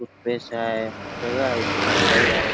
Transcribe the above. Toothpaste हाय सगळ हाय तिथ मिठाई हाय.